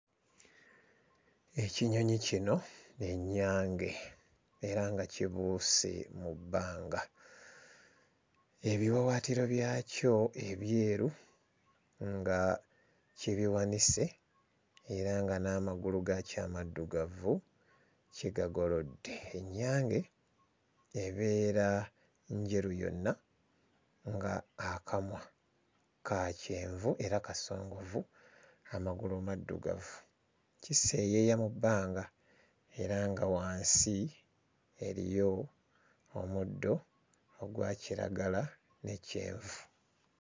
Ekinyonyi kino y'ennyange era nga kibuuse mu bbanga ebiwawaatiro byakyo ebyeru nga kibiwanise era nga n'amagulu gaakyo amaddugavu kigagolodde. Ennyange ebeera njeru yonna nga akamwa ka kyenvu era kasongovu amagulu maddugavu. Kiseeyeeya mu bbanga era nga wansi eriyo omuddo ogwa kiragala ne kyenvu.